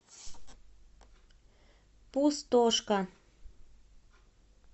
пустошка